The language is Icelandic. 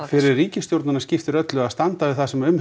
fyrir ríkisstjórnina skiptir öllu að standa við það sem um